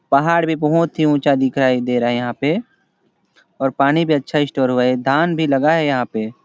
पहाड़ भी बहुत ही ऊँचा दिखाई दे रहा है यहाँ पे और पानी भी अच्छा हो स्टोर हुआ है धान भी लगा है यहाँ पे--